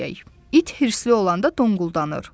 İt hirsli olanda donquldanır.